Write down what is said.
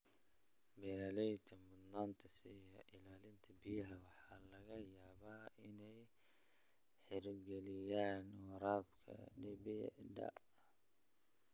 Beeralayda mudnaanta siiya ilaalinta biyaha waxa laga yaabaa inay hirgeliyaan waraabka dhibicda.